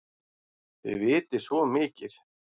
Þið vitið svo mikið!